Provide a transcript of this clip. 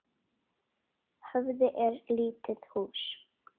Höfði er lítið hús.